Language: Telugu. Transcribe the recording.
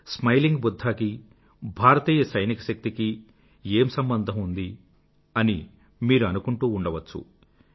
స్మైలింగ్ బుధ్ధా కీ భారతీయ సైనిక శక్తీ కీ ఏం సంబంధం ఉందీ అని మీరు అనుకుంటూ ఉండవచ్చు